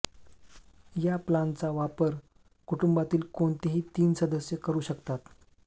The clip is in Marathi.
या प्लानचा वापर कुटुंबातील कोणतेही तीन सदस्य करू शकतात